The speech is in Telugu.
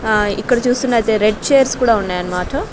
ఆ ఇక్కడ చూస్తున్నతే రెడ్ చైర్స్ కూడా ఉన్నాయనమాట --